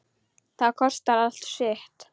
Það kostar allt sitt.